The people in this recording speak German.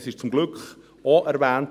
Es wurde zum Glück auch erwähnt: